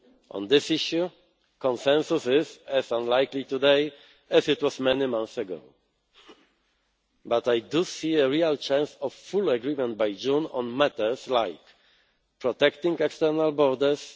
On this issue, consensus is as unlikely today as it was many months ago. But I do see a real chance of full agreement by June on matters like protecting external borders